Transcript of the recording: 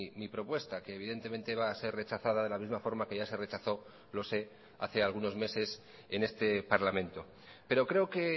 mi propuesta que evidentemente va a ser rechazada de la misma forma que ya se rechazó lo sé hace algunos meses en este parlamento pero creo que